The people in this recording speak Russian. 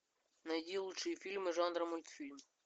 найди лучшие фильмы жанра мультфильм